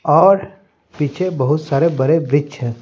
और पीछे बहुत सारे बड़े वृक्ष हैं।